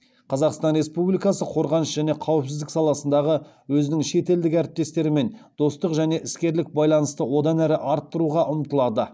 қазақстан республикасы қорғаныс және қауіпсіздік саласындағы өзінің шетелдік әріптестерімен достық және іскерлік байланысты одан әрі арттыруға ұмтылады